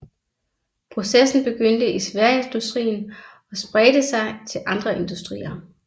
Processen begyndte i sværindustrien og spredte sig til andre industrier